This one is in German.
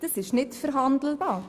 Das ist nicht verhandelbar.